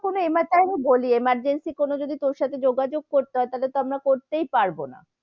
কোনো time এ বলি emergency কোনো যদি তোর সাথে যোগাযোগ করতে হয় তাহলে তো আমরা করতে পারবো না,